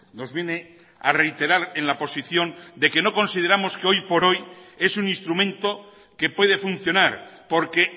nos viene a reiterar en la posición de que no consideramos que hoy por hoy es un instrumento que puede funcionar porque